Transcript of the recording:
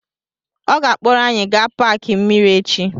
Ọ ga-akpọrọ anyị gaa paaki mmiri echi.